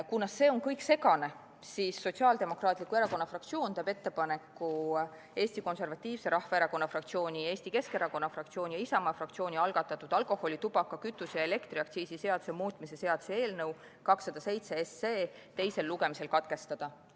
Kuna see kõik on segane, siis Sotsiaaldemokraatliku Erakonna fraktsioon teeb ettepaneku Eesti Konservatiivse Rahvaerakonna fraktsiooni ja Eesti Keskerakonna fraktsiooni ning Isamaa fraktsiooni algatatud alkoholi-, tubaka-, kütuse- ja elektriaktsiisi seaduse muutmise seaduse eelnõu 207 menetlus teisel lugemisel katkestada.